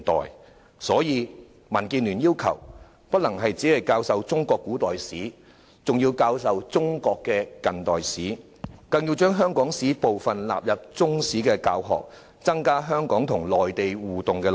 有見及此，民建聯要求，除中國古代史外，還要教授中國近代史，更要將香港史納入中史教學，增加香港與內地互動的內容。